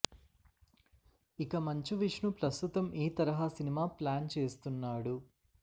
ఇక మంచు విష్ణు ప్రస్తుతం ఈ తరహా సినిమా ప్లాన్ చేస్తున్నాడు